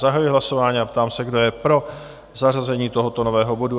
Zahajuji hlasování a ptám se, kdo je pro zařazení tohoto nového bodu?